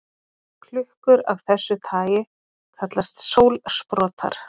Klukkur af þessu tagi kallast sólsprotar.